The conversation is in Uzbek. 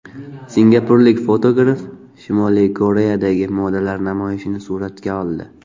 Singapurlik fotograf Shimoliy Koreyadagi modalar namoyishini suratga oldi.